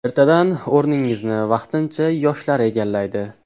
Ertadan o‘rningizni vaqtincha yoshlar egallaydi.